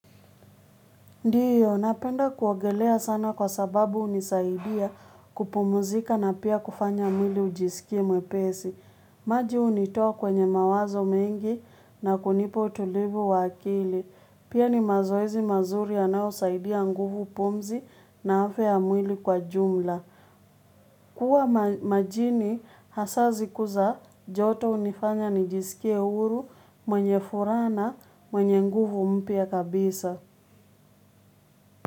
Ndiyo, napenda kuogelea sana kwa sababu hunisaidia kupumzika na pia kufanya mwili ujisikie mwepesi. Maji unitoa kwenye mawazo mengi na kunipo utuvu wakili. Pia ni mazoezi mazuri anayo usaidia nguvu pumzi na afya mwili kwa jumla. Kua majini hasa siku za joto unifanya nijisikie uru mwenye furana mwenye nguvu mpia kabisa.